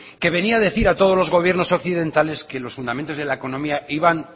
que venía a decir a todos los gobiernos occidentales que los fundamentos de la economía iban